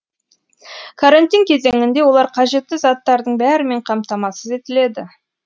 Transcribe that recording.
карантин кезеңінде олар қажетті заттардың бәрімен қамтамасыз етіледі